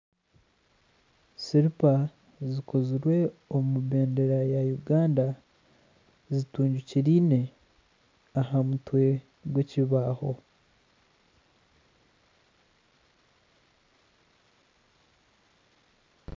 Siripa zikozirwe omu bendeera ya Uganda, zitungikiraine aha mutwe gw'ekibaaho.